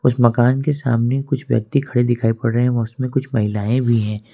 उस मकान के सामने कुछ व्यक्ति खड़े दिखाई पड़ रहे हैं उसमें कुछ महिलाएं भी हैं।